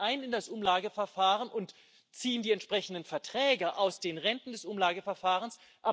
Sie zahlen in das Umlageverfahren ein und ziehen die entsprechenden Erträge aus den Renten des Umlageverfahrens.